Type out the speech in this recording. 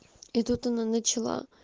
и тут она начала